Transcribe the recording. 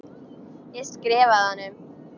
Ég skrifa honum!